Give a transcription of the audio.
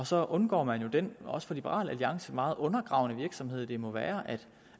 så undgår man jo den også for liberal alliance meget undergravende virksomhed det må være